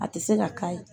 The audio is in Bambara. A tɛ se ka k'a ye